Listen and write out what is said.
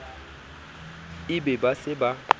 e be ba se ba